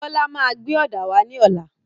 Bọ́lá máa gbé òdà wà ní ọlá.